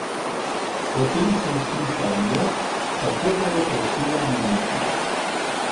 Potem sem slišal njo, kako ga je prosila naj neha.